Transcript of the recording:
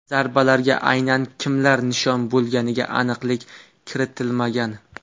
Zarbalarga aynan kimlar nishon bo‘lganiga aniqlik kiritilmagan.